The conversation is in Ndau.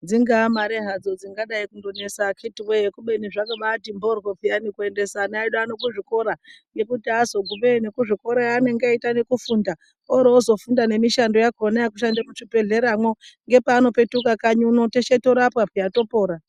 Dzingava Mari dzingadai kunesa akiti woye kubeni zvakabati mboryo kuendesa ana edu kuzvikora nekuti azogumeyo nekuzvikora anenge eitanekufunda orozofunda nemishando yakona yekushanda muzvibhedhleramwo ngepanopetuka kanyi teshe torapwa piya topona.